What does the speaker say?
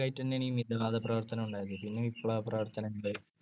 ഭാഗമായിത്തന്നെയാണ് ഈ മിതവാദപ്രവർത്തനം ഉണ്ടായതു പിന്നെ വിപ്ലവപ്രവർത്തനം ഉണ്ടായി.